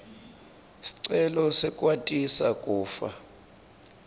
sicelo sekwatisa kufa